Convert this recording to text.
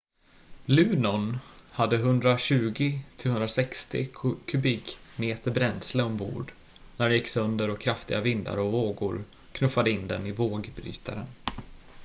luno:n hade 120-160 kubikmeter bränsle ombord när den gick sönder och kraftiga vindar och vågor knuffade in den i vågbrytaren